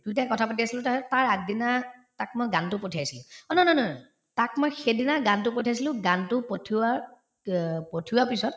দুয়োটাই কথা পাতি আছিলো তাৰপিছত তাৰ আগদিনা তাক মই গানতো পঠিয়াইছিলো অ ন নন তাক মই সেইদিনা গানতো পঠিয়াইছিলো গানতো পঠিওৱাৰ ক পঠিওৱাৰ পিছত